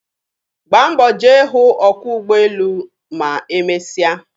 Gbaa mbọ jee hụ ọkwọ ugbọelu ma emesịa.